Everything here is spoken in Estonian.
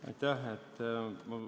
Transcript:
Aitäh!